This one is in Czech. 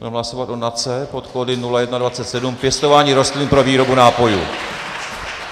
Budeme hlasovat o NACE pod kódy 0127 - pěstování rostlin pro výrobu nápojů.